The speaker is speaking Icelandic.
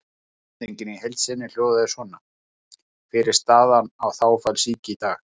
Spurningin í heild sinni hljóðaði svona: Hver er staðan á þágufallssýki í dag?